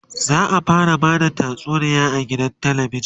za'a fara Bada tatsuniya a gidan talabijan